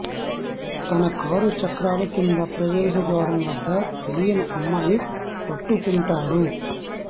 తన కారు చక్రాలు కింద ప్రవేశద్వారం వద్ద తెలియని అమ్మాయి పట్టుకుంటాడు